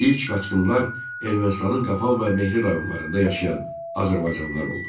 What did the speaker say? İlk qaçqınlar Ermənistanın Qafan və Mehri rayonlarında yaşayan azərbaycanlılar oldu.